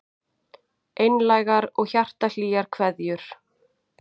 Einlægar og hjartahlýjar kveðjur